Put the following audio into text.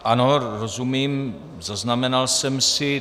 Ano, rozumím, zaznamenal jsem si.